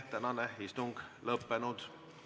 Tänane istung on lõppenud.